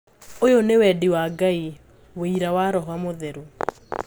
"Uyũ ni wendi wa Ngai, wira wa Roho mũtheru."